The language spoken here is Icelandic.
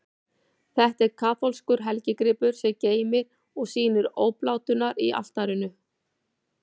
Þetta er kaþólskur helgigripur, sem geymir og sýnir obláturnar á altarinu.